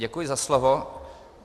Děkuji za slovo.